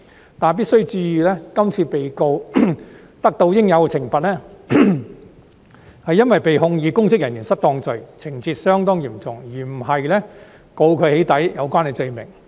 不過，必須注意，今次被告得到應有懲罰，是因為被控以公職人員行為失當罪，情節相當嚴重，而不是被控以與"起底"有關的罪名。